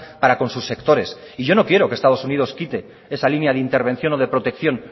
para con sus sectores y yo no quiero que estados unidos quite esa línea de intervención o de protección